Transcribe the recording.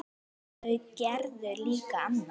En þau gerðu líka annað.